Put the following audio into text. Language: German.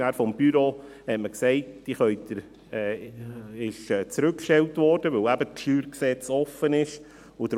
Das Büro des Grossen Rates stellte diese zurück, weil eben die Debatte über das StG ausstand.